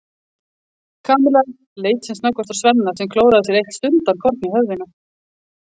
Kamilla leit sem snöggvast á Svenna sem klóraði sér eitt stundarkorn í höfðinu.